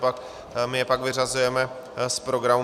Naopak my je pak vyřazujeme z programu.